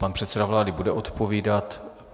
Pan předseda vlády bude odpovídat.